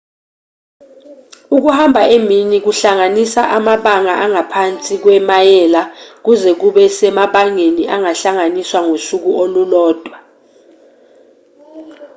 ukuhamba emini kuhlanganisa amabanga angaphansi kwemayela kuze kube semabangeni angahlanganiswa ngosuku olulodwa